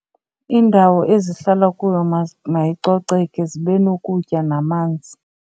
Indawo ezihlala kuyo mayicoceke zibe nokutya namanzi.